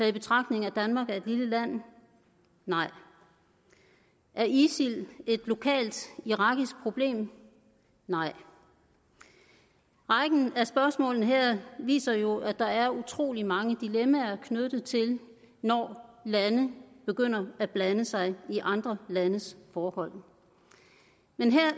i betragtning at danmark er et lille land nej er isil et lokalt irakisk problem nej rækken af spørgsmålene her viser jo at der er utrolig mange dilemmaer knyttet til når lande begynder at blande sig i andre landes forhold men jeg